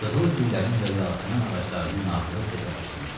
Qızıl güllərin və yasəmən ağaclarının nağılı təzə başlamışdı.